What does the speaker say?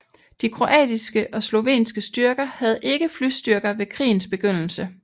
De kroatiske og slovenske styrker havde ikke flystyrker ved krigens begyndelse